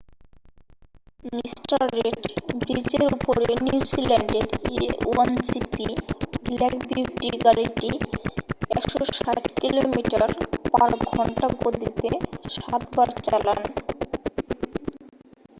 Mr Red ব্রিজের উপরে নিউজিল্যান্ডের a1gp ব্ল্যাক বিউটি গাড়িটি 160 কিলোমিটার / ঘন্টা গতিতে সাতবার চালান